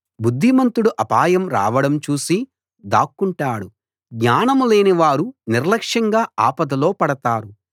బుద్ధిమంతుడు అపాయం రావడం చూసి దాక్కుంటాడు జ్ఞానం లేనివారు నిర్లక్ష్యంగా ఆపదలో పడతారు